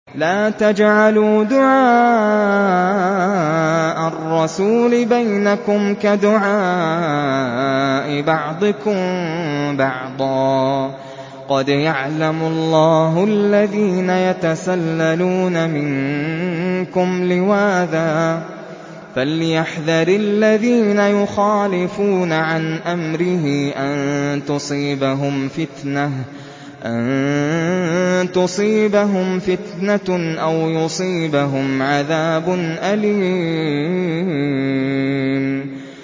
لَّا تَجْعَلُوا دُعَاءَ الرَّسُولِ بَيْنَكُمْ كَدُعَاءِ بَعْضِكُم بَعْضًا ۚ قَدْ يَعْلَمُ اللَّهُ الَّذِينَ يَتَسَلَّلُونَ مِنكُمْ لِوَاذًا ۚ فَلْيَحْذَرِ الَّذِينَ يُخَالِفُونَ عَنْ أَمْرِهِ أَن تُصِيبَهُمْ فِتْنَةٌ أَوْ يُصِيبَهُمْ عَذَابٌ أَلِيمٌ